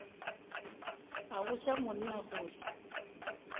a botša monna gore o